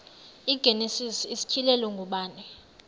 igenesis isityhilelo ngubani